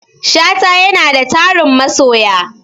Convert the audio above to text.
Shata yanada tarin masoya